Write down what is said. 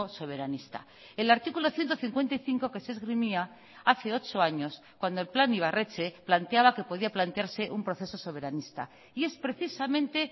soberanista el artículo ciento cincuenta y cinco que se esgrimía hace ocho años cuando el plan ibarretxe planteaba que podía plantearse un proceso soberanista y es precisamente